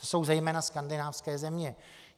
To jsou zejména skandinávské země.